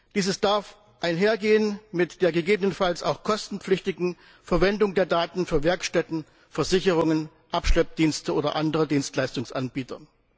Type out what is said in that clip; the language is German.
Dieses darf einhergehen mit der gegebenenfalls auch kostenpflichtigen Verwendung der Daten durch Werkstätten, Versicherungen, Abschleppdienste oder andere Dienstleistungsanbieter.